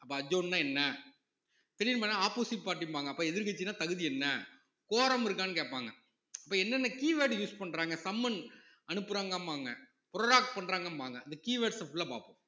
அப்ப adjourn னா என்ன திடீர்ன்னு போனா opposite party ம்பாங்க அப்ப எதிர்க்கட்சின்னா தகுதி என்ன quorum இருக்கான்னு கேட்பாங்க அப்ப என்னென்ன keyword use பண்றாங்க summon அனுப்புறாங்கம்பாங்க prorogue பண்றாங்கம்பாங்க இந்த keywords அ full ஆ பாப்போம்